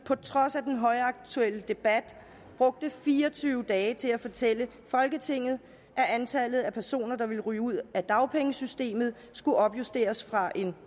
på trods af den højaktuelle debat brugte fire og tyve dage til at fortælle folketinget at antallet af personer der ville ryge ud af dagpengesystemet skulle opjusteres fra